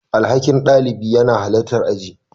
Alhakin ɗalibi yana halartar aji.